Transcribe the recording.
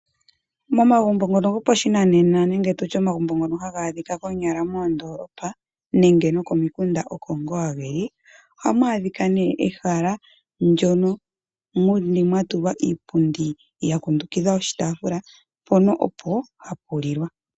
Mo magumbo ngono gopashinanena nenge tutye omagumbo ngono haga adhika moondoolopa, nenge nokomikunda oko ngaa geli, ohamu adhika nee ehala, ndyono mwa tulwa iipundi ya kundukidha oshitaafula mpono opo hapu lilwa.